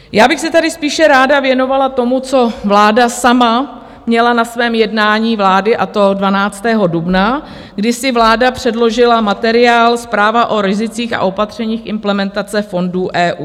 Já bych se tady spíše ráda věnovala tomu, co vláda sama měla na svém jednání vlády, a to 12. dubna, kdy si vláda předložila materiál Zpráva o rizicích a opatřeních implementace fondů EU.